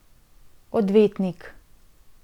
Odvetnik.